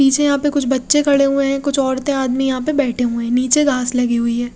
पीछे यहाँ पे कुछ बच्चे खड़े हुए है कुछ ओरते आदमी यहाँ पे बेठे हुए है निचे घास लगी हुई है।